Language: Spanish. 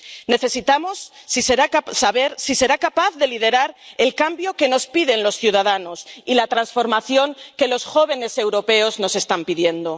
Necesitamos saber si será capaz de liderar el cambio que nos piden los ciudadanos y la transformación que los jóvenes europeos nos están pidiendo.